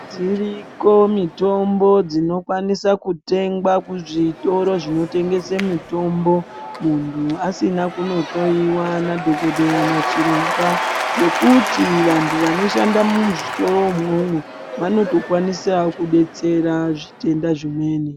Dziriko mitombo dzinokwanise kutengwa kuzvitoro zvinotengese mitombo munhu asina kunohloyiwa nadhokodheya nachiremba ngekuti vanhu vanoshanda muzvitoro imwomwo vanotokwanisa kudetsera zvitenda zvimweni.